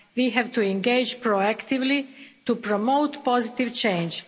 We have to engage proactively to promote positive change.